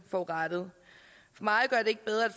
forurettet